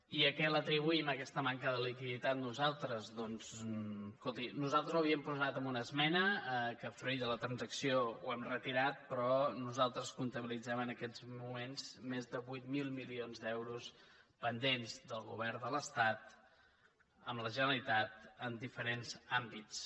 i a què l’atribuïm aques·ta manca de liquiditat nosaltres doncs escolti nos·altres ho havíem posat en una esmena que fruit de la transacció hem retirat però nosaltres comptabilitzem en aquests moments més de vuit mil milions d’euros pendents del govern de l’estat amb la generalitat en diferents àmbits